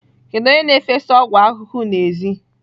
Kedu onye na-efesa ọgwụ ahụhụ n'èzí?